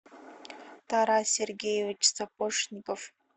тарас сергеевич сапожников